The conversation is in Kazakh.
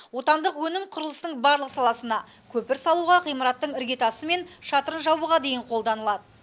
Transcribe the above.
отандық өнім құрылыстың барлық саласына көпір салуға ғимараттың іргетасы мен шатырын жабуға дейін қолданылады